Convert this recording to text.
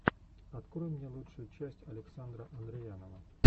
открой мне лучшую часть александра андреянова